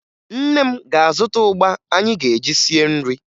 Nne m ga-azụta ụgba anyị ga-eji sie nri